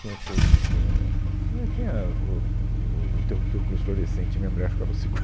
Tinha essas... é, ah, tinha o o o interruptor com luz fluorescente e minha mulher ficava